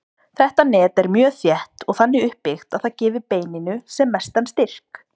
Þetta net er mjög þétt og þannig uppbyggt að það gefi beininu sem mestan styrk.